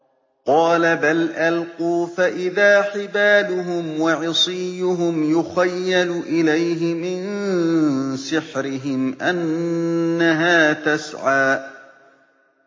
قَالَ بَلْ أَلْقُوا ۖ فَإِذَا حِبَالُهُمْ وَعِصِيُّهُمْ يُخَيَّلُ إِلَيْهِ مِن سِحْرِهِمْ أَنَّهَا تَسْعَىٰ